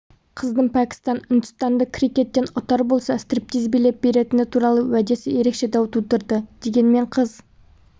қыздың пәкістан ұндістанды крикеттен ұтар болса стриптиз билеп беретіні туралы уәдесі ерекше дау тудырды дегенмен қыз